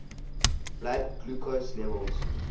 blood glucose levels